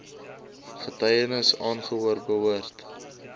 getuienis aangehoor behoort